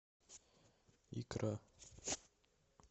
икра